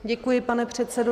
Děkuji, pane předsedo.